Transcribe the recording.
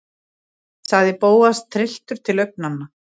sagði Bóas, trylltur til augnanna.